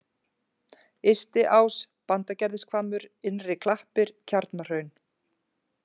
Ystiás, Bandagerðishvammur, Innri-Klappir, Kjarnahraun